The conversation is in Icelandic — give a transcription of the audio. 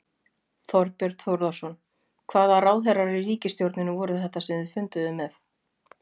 Þorbjörn Þórðarson: Hvaða ráðherrar í ríkisstjórninni voru þetta sem þið funduðuð með?